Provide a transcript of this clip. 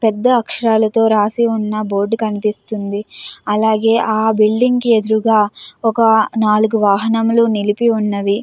పెద్ద ఆకాశారల్లతో రాసి వున్నా బోర్డు కనిపిస్తుంది. అలాగే ఆ బిల్డింగ్ కి ఎదురుంగ ఒక నాలుగు వాహనమల్లు నిలిపి ఉన్నవి.